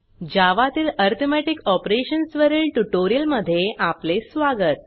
जावा तील arithmetic operations वरील tutorial मध्ये आपले स्वागत